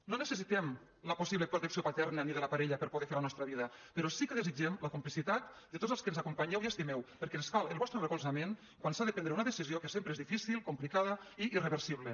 no necessitem la possible protecció paterna ni de la parella per poder fer la nostra vida però sí que desitgem la complicitat de tots els que ens acompanyeu i estimeu perquè ens cal el vostre recolzament quan s’ha de prendre una decisió que sempre és difícil complicada i irreversible